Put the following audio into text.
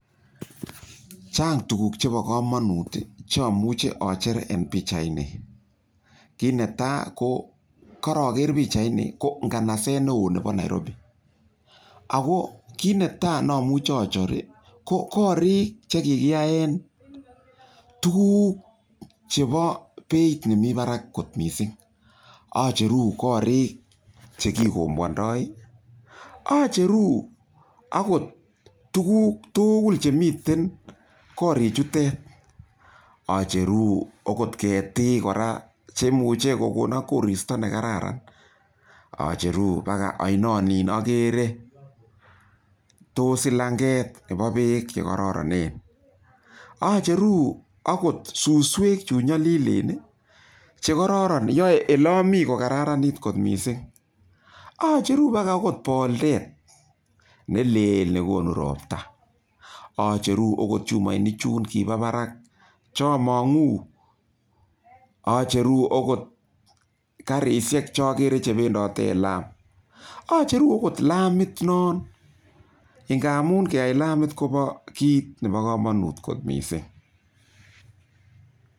Chang tukuk chebo komonut chomuche ocher en pichaini kinetaa ko koroker pichaini ko ng'anaset neoo nebo Nairobi, akoo kinetaa nomuche ocher ko korik chekikiyaen tukuk chebo beiit nemii barak kot mising, ocheru korik chekikombwondo, ocheru okot tukuk tukul chemiten korichutet, ocheru okot ketiik kora chemuche kokonon koristo nekararan, ocheru bakaa oinonin okeree, toos silang'et nebo beek chekororonen, ocheru akot susweek chunyolilen chekororon yoe elomi kokararanit kot mising, ocheru bakaa okot boldet neleel nekonu robta, ocheru okot chumoinik chuun kibobarak chomong'u, ocheru okot karishek chokeree chebendote en laam, ocheru okot laamit non ng'amun keyai laamit koboo kiit nebokomonut kot mising.